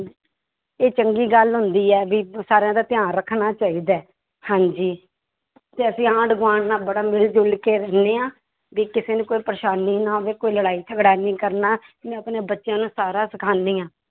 ਇਹ ਚੰਗੀ ਗੱਲ ਹੁੰਦੀ ਹੈ ਵੀ ਸਾਰਿਆਂ ਦਾ ਧਿਆਨ ਰੱਖਣਾ ਚਾਹੀਦਾ ਹੈ ਹਾਂਜੀ, ਤੇ ਅਸੀਂ ਆਂਢ ਗੁਆਂਢ ਨਾਲ ਬੜਾ ਮਿਲ ਜੁਲ ਕੇ ਰਹਿੰਦੇ ਹਾਂ ਵੀ ਕਿਸੇ ਨੂੰ ਕੋਈ ਪਰੇਸਾਨੀ ਨਾ ਆਵੇ ਕੋਈ ਲੜਾਈ ਝਗੜਾ ਨੀ ਕਰਨਾ, ਮੈਂ ਆਪਣੇ ਬੱਚਿਆਂ ਨੂੰ ਸਾਰਾ ਸਿਖਾਉਂਦੀ ਹਾਂ।